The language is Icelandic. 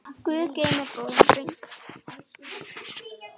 Guð geymir góðan dreng.